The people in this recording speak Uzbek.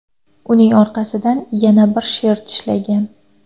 Uning orqasidan yana bir sher tishlagan.